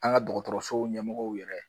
An ga dɔgɔtɔrɔso ɲɛmɔgɔw yɛrɛ